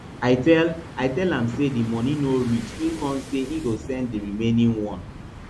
i tell i tell am say di money no reach e con say e go send di remaining one